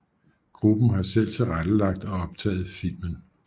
Gruppen har selv tilrettelagt og optaget filmen